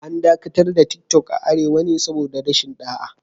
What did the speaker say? An dakatar da Tiktok a Arewa ne saboda rashin ɗa'a